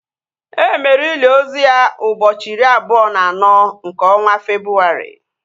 Emere ili ozu ya ụbọchị iri abụọ na anọ nke ọnwa Febrụwarị